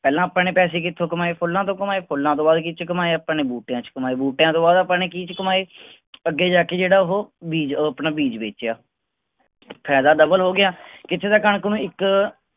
ਪਹਿਲਾਂ ਆਪਾਂ ਨੇ ਪੈਸੇ ਕਿਥੋਂ ਕਮਾਏ ਫੁੱਲਾਂ ਤੋਂ ਕਮਾਏ ਫੁੱਲਾਂ ਤੋਂ ਬਾਅਦ ਕੀਹਦੇ ਚ ਕਮਾਏ ਆਪਾਂ ਨੇ ਬੂਟਿਆਂ ਚ ਕਮਾਏ ਬੂਟਿਆਂ ਤੋਂ ਬਾਅਦ ਆਪਾਂ ਨੇ ਕੀਹਦੇ ਚ ਕਮਾਏ ਅੱਗੇ ਜਾ ਕੇ ਜਿਹੜਾ ਉਹ ਬੀਜ ਅਹ ਆਪਣਾ ਬੇਚੇਆ ਫਾਇਦਾ ਹੋਗਿਆ ਕਿਥ੍ਹੇ ਤਾਂ ਕਣਕ ਨੂੰ ਇੱਕ